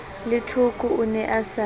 lethoko o ne a sa